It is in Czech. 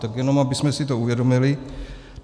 Tak jenom abychom si to uvědomili.